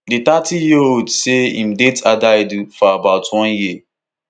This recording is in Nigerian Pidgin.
di thirtyyearold say im date adaidu for about one year